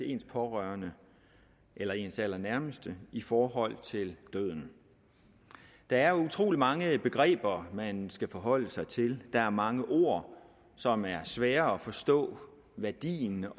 ens pårørende eller ens allernærmeste i forhold til døden der er utrolig mange begreber man skal forholde sig til der er mange ord som er svære at forstå værdien